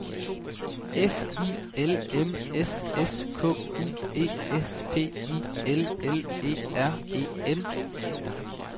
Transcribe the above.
F I L M S S K U E S P I L L E R E N